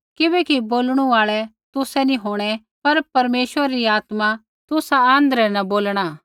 किबैकि बोलणु आल़ै तुसै नी होंणै पर परमेश्वरै री आत्मा तुसा आँध्रै न बोलणा